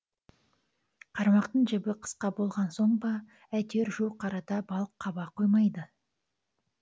қармақтың жібі қысқа болған соң ба әйтеуір жуық арада балық қаба қоймады